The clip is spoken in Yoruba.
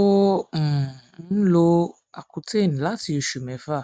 ò um ń lo accutane láti oṣù mẹfà